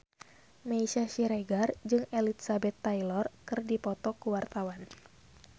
Meisya Siregar jeung Elizabeth Taylor keur dipoto ku wartawan